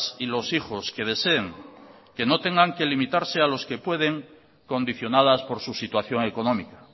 y los hijos que deseen que no tengan que limitarse a los que pueden condicionadas por su situación económica